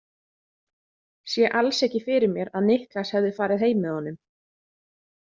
Sé alls ekki fyrir mér að Niklas hefði farið heim með honum.